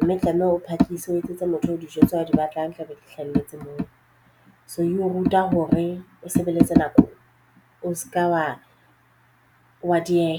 mme oe tlameha o phakise o etsetse motho o dijo tseo o di batlang di tlabe di hlahelletse moo. So e o ruta hore o sebeletse nako o se ka wa dieha.